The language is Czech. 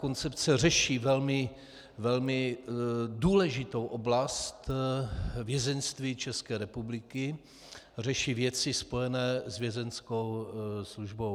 Koncepce řeší velmi důležitou oblast vězeňství České republiky, řeší věci spojené s Vězeňskou službou.